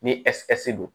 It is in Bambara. Ni don